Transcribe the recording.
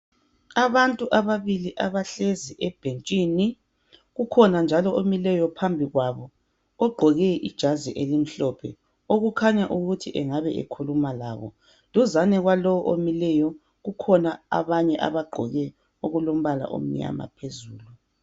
Abantu ababili abahlezi ebhentshini. Kukhona njalo omileyo phambi kwabo ogqoke ijazi elimhlophe okukhanya ukuthi engabe ekhuluma labo. Duzane kwalowo omileyo kukhona abanye abagqoke okulombala omnyama phezulu.